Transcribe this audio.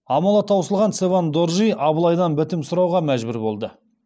амалы таусылған цевен доржи абылайдан бітім сұрауға мәжбүр болды